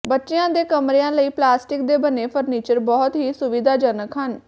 ਬੱਚਿਆਂ ਦੇ ਕਮਰਿਆਂ ਲਈ ਪਲਾਸਟਿਕ ਦੇ ਬਣੇ ਫਰਨੀਚਰ ਬਹੁਤ ਹੀ ਸੁਵਿਧਾਜਨਕ ਹਨ